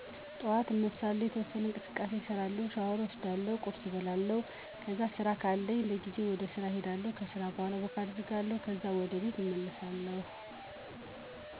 በጠዋት አነሳለሁ፤ የተወሠነ እንቅስቃሴ እሰራለሁ፤ ሻወር እወስዳለሁ፤ ቁርስ እበላለሁ፤ ከዛ ስራ ካለኝ በጊዜ ወደስራ እሄዳለሁ ከስራ በኋላ ወክ አደርጋለሁ ካዛ ወደ ቤት እመለሣለሁ።